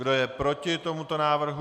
Kdo je proti tomuto návrhu?